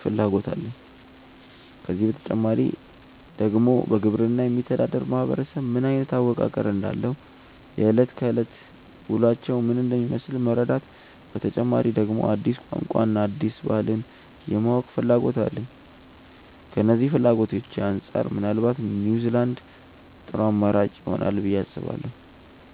ፍላጎት አለኝ። ከዚህ በተጨማሪ ደግሞ በግብርና የሚተዳደር ማህበረሰብ ምን አይነት አወቃቀር እንዳለው፣ የእለት ከእለት ውሎአቸው ምን እንደሚመስል መረዳት፤ በተጨማሪ ደግሞ አዲስ ቋንቋን እና አዲስ ባህልን የማወቅና ፍላጎት አለኝ። ከነዚህ ፍላጎቶቼ አንጻር ምናልባት ኒውዝላንድ ጥሩ አማራጭ ይሆናል ብዬ አስባለሁ።